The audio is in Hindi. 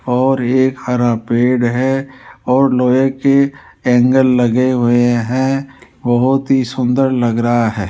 और एक हरा पेड़ है और लोहे के एंगल लगे हुए हैं बहुत ही सुंदर लग रहा है।